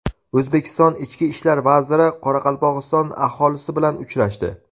O‘zbekiston ichki ishlar vaziri Qoraqalpog‘iston aholisi bilan uchrashdi.